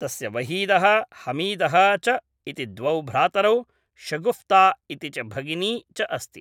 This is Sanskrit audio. तस्य वहीदः, हमीदः च इति द्वौ भ्रातरौ, शगुफ्ता इति च भगिनी च अस्ति ।